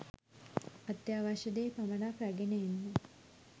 අත්‍යවශ්‍ය දේ පමණක් රැගෙන එන්න